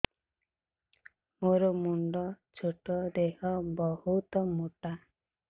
ମୋର ମୁଣ୍ଡ ଛୋଟ ଦେହ ବହୁତ ମୋଟା